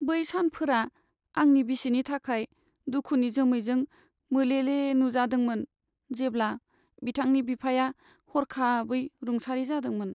बै सानफोरा आंनि बिसिनि थाखाय दुखुनि जोमैजों मोले मोले नुजादोंमोन, जेब्ला बिथांनि बिफाया हरखाबै रुंसारि जादोंमोन।